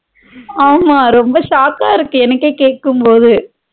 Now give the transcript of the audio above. ஆமா ரொம்ப chock கா இருக்கு எனகே கேக்கும்போது